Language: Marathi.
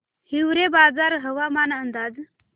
हिवरेबाजार हवामान अंदाज